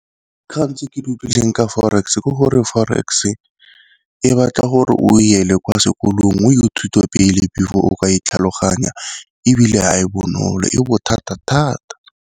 Dikgang tse ke di utlwileng ka forex ke gore forex e e batla gore o ele kwa sekolong o thuto pele before o ka e tlhaloganya, ebile ha e bonolo e bothata thata.